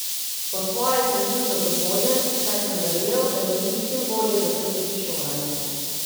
Po svoje sem bil zadovoljen, saj sem verjel, da želi čim bolje zaključiti šolanje.